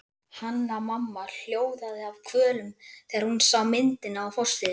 Hanna-Mamma hljóðaði af kvölum þegar hún sá myndina á forsíðunni.